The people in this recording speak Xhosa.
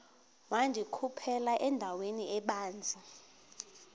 wandikhuphela endaweni ebanzi